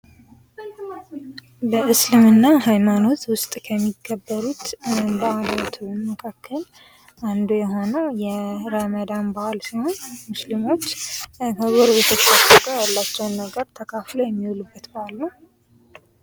በእስልምና ሃይማኖት ውስጥ ከሚከበሩ በአላት መካከል አንዱ የሆኑ ረመዳን በዓል ሲሆን ሙስሊሞች ከጎረቤቶቻቸው ጋር ያላቸውን ነገር ተካፍለው የሚውሉበት በአል ነው።